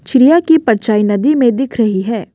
चिड़िया की परछाई नदी में दिख रही है।